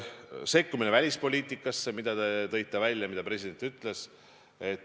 Sekkumine välispoliitikasse – te tõite välja, et president seda ütles.